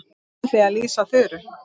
Nú ætla ég að lýsa Þuru.